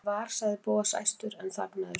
Ég var.- sagði Bóas æstur en þagnaði svo.